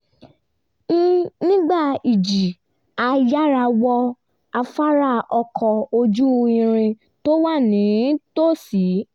nígbà ìjì a yára wọ afárá ọkọ̀ ojú-irin tó wà nítòsí